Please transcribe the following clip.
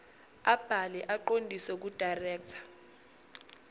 abhalwe aqondiswe kudirector